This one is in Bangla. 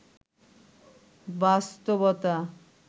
বাস্তবতা